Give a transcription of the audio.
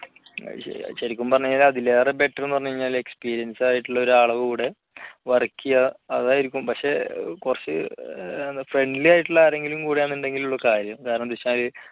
ശരിക്കും പറഞ്ഞാൽ അതിലേറെ better എന്ന് പറഞ്ഞാല് experience ആയിട്ടുള്ള ഒരാളുടെ കൂടെ work ചെയ്യുക അതായിരിക്കും പക്ഷേ കുറച്ച് friendly ആയിട്ടുള്ള ആര്എങ്കിലും കൂടെ ആണെന്നുണ്ടെങ്കിലെ ഉള്ളൂ കാര്യം കാരണം എന്താ വെച്ചാല്